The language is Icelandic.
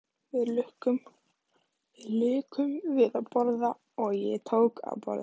Við lukum við að borða og ég tók af borðinu.